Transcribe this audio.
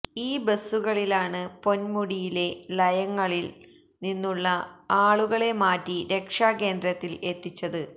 ഈ ബസുകളിലാണ് പൊന്മുടിയിലെ ലയങ്ങളില് നിന്നുള്ള ആളുകളെ മാറ്റി രക്ഷാ കേന്ദ്രത്തില് എത്തിച്ചത്